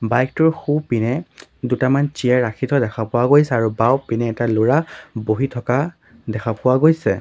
Bike টোৰ সোঁপিনে দুটামান চিয়েৰ ৰাখি থোৱা দেখা পোৱা গৈছে আৰু বাওঁপিনে এটা ল'ৰা বহি থকা দেখা পোৱা গৈছে।